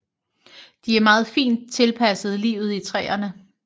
De er meget fint tilpasset livet i træerne